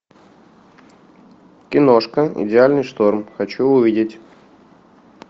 киношка идеальный шторм хочу увидеть